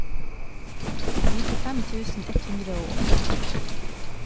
nittifem tusen ett hundre og åtte